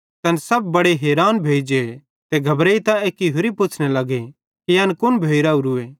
तैना सब बड़े हैरान भोइ जे ते घबरेइतां एक्की होरि पुच्छ़ने लगे कि एन कुन भोइ रावरूए